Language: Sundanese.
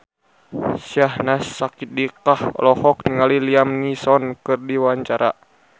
Syahnaz Sadiqah olohok ningali Liam Neeson keur diwawancara